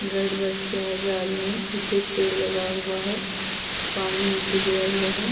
Red bus के आगे आदमी है पीछे पेड़ लगा हुआ है पानी नीचे गिरा हुआ है।